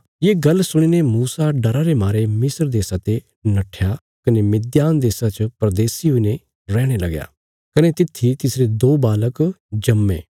ये गल्ल सुणीने मूसा डरा रे मारे मिस्र देशा ते नट्ठया कने मिद्यान देशा च परदेशी हुईने रेहणे लगया कने तित्थी तिसरे दो बालक जम्मे